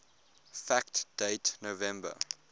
fact date november